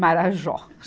Marajó.